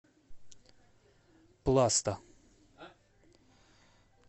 пласта